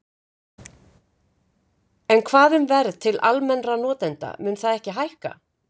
En hvað um verð til almennra notenda, mun það ekki hækka?